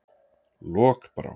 Lokbrá